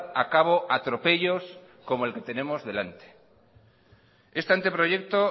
a cabo atropellos como el que tenemos delante este anteproyecto